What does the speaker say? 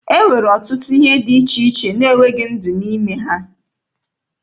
E nwere ọtụtụ ihe dị iche iche na-enweghị ndụ n'ime ha.